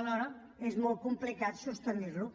alhora és molt complicat sostenir ho